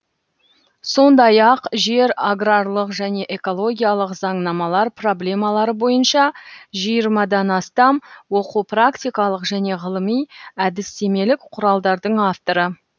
сондай ақ жер аграрлық және экологиялық заңнамалар проблемалары бойынша жиырмадан астам оқу практикалық және ғылыми әдістемелік құралдардың авторы